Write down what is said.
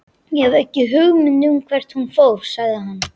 Ég hef ekki hugmynd um hvert hún fór, sagði hann.